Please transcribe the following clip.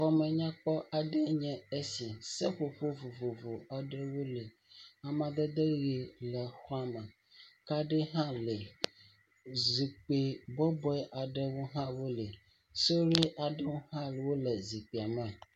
Xɔme nya kpɔ aɖe enye esi. Seƒoƒo vovovo aɖewo le. Amedada ʋi le xɔa me. Kaɖi hã li. Zikpui bɔbɔ aɖewo hã woli. Suɖui aɖewo hã wole zikpuia me.